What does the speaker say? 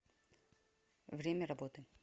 время работы